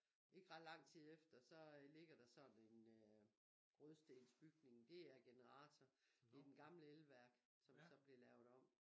Ikke ret lang tid efter så ligger der sådan en rødstensbygning det er generator det er den gamle elværk som så blev lavet om